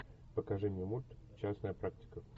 покажи мне мульт частная практика